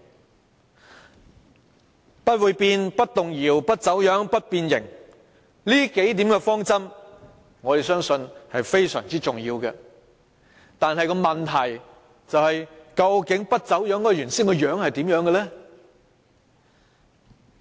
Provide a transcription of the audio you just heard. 我們相信不會變、不動搖、不走樣、不變形這數點方針是非常重要，但問題是不走樣的原本樣子如何，